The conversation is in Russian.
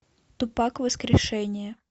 тупак воскрешение